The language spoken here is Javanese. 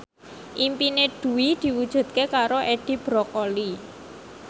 impine Dwi diwujudke karo Edi Brokoli